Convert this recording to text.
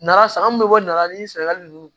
Nara sa mun bɛ bɔ nana ni sɛnɛgali ninnu